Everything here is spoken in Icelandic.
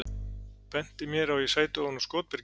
Benti mér á að ég sæti ofan á skotbyrgi.